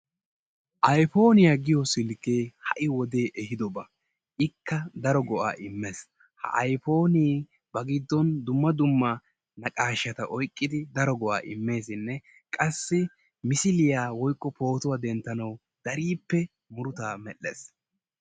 Ayfooniya giyo silkkee ha"i wodee ehiidoba. Ikka daro go"aa immees. Ha ayfoonee bari giddon daro naqaashaa oyqqidi daro go'aa immeesinne qassi misiliya/pootuwa denttanawu dariippe murutaa medhdhees.